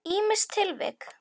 Ýmis tilvik.